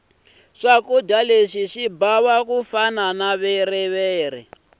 swakudya swo bava ku fana na viriviri